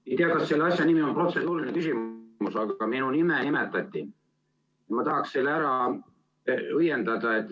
Ma ei tea, kas selle asja nimi on protseduuriline küsimus, aga kuna minu nime nimetati, siis ma tahaks selle ära õiendada.